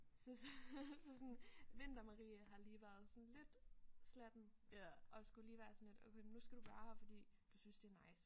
Så så sådan vinter Marie har lige været sådan lidt slatten og skulle lige være sådan lidt nu skal du være her fordi du synes det er nice